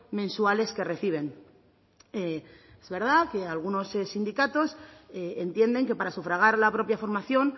mensuales que reciben es verdad que algunos sindicatos entienden que para sufragar la propia formación